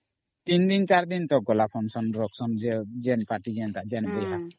3 ଦିନ 4 ଦିନ ତା ହେଲା ସେ function ସବୁ ..